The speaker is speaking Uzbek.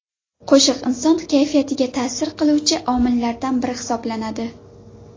Qo‘shiq inson kayfiyatiga ta’sir qiluvchi omillardan biri hisoblanadi.